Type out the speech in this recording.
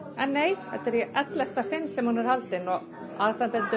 en nei þetta er í ellefta sinn sem Melodica er haldin aðstandendur